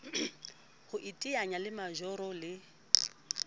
ho iteanya le majoro le